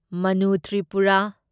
Manu Tripura